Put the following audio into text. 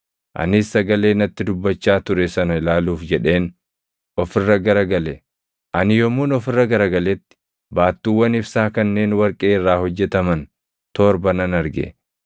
Anis sagalee natti dubbachaa ture sana ilaaluuf jedheen of irra gara gale. Ani yommuun of irra gara galetti baattuuwwan ibsaa kanneen warqee irraa hojjetaman torba nan arge;